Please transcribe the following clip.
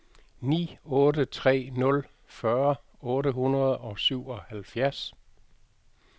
ni otte tre nul fyrre otte hundrede og syvoghalvfjerds